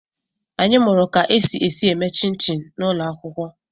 Anyị mụụrụ ka e si esi eme chịn chịn n'ụlọ akwụkwọ.